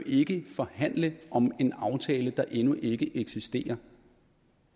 ikke kan forhandle om en aftale der endnu ikke eksisterer